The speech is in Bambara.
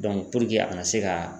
puruke a kana se ka